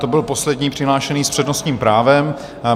To byl poslední přihlášený s přednostním právem.